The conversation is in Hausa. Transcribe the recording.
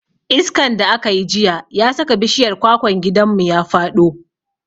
Iskan da aka yi jiya ya saka bishiyar kwakwan gidanmu ya faɗo.